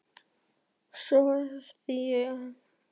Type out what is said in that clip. Svo þessi óhlýðni biskup vill ráða Íslandi?